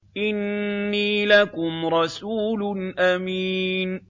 إِنِّي لَكُمْ رَسُولٌ أَمِينٌ